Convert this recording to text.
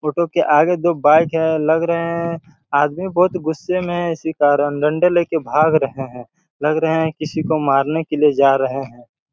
Photo के आगे दो बाइक हैं लग रहा हैं आदमी बहुत गुस्सा में हैं इसी कारण डंडे लेकर भाग रहे हैं लग रहा हैं किसी को मारने के लिए जा रहे हैं।